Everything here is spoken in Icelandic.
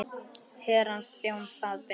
Herrans þjónn það ber.